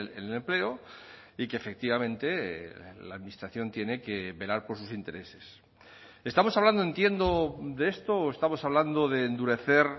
en el empleo y que efectivamente la administración tiene que velar por sus intereses estamos hablando entiendo de esto o estamos hablando de endurecer